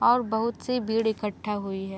और बहुत -सी भीड़ एकट्ठा हुई हैं।